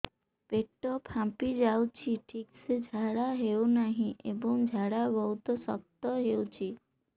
ପେଟ ଫାମ୍ପି ଯାଉଛି ଠିକ ସେ ଝାଡା ହେଉନାହିଁ ଏବଂ ଝାଡା ବହୁତ ଶକ୍ତ ହେଉଛି